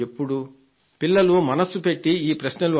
పిల్లలు మనస్సు పెట్టి ఈ ప్రశ్నలు అడగాలి